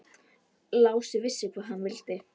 Lási vissi hvað hann vildi.